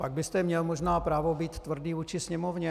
Pak byste měl možná právo být tvrdý vůči Sněmovně.